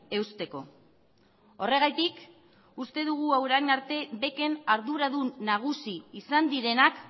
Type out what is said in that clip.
eusteko horregatik uste dugu orain arte bec en arduradun nagusi izan direnak